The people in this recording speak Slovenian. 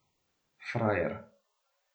Frajer.